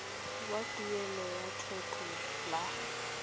wa tuelo ya lekgetho la